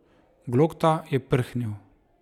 Glokta je prhnil.